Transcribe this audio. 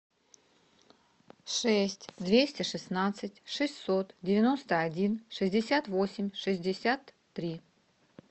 шесть двести шестнадцать шестьсот девяносто один шестьдесят восемь шестьдесят три